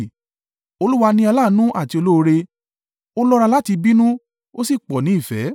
Olúwa ni aláàánú àti olóore, ó lọ́ra láti bínú, ó sì pọ̀ ní ìfẹ́.